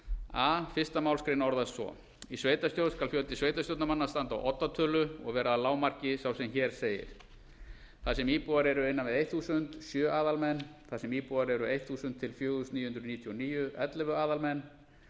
a fyrstu málsgrein orðast svo í sveitarstjórn skal fjöldi sveitarstjórnarmanna standa á oddatölu og vera að lágmarki svo sem hér segir þar sem íbúar eru innan við þúsund sjö aðalmenn þar sem íbúar eru þúsund til fjögur þúsund níu hundruð níutíu og níu ellefu aðalmenn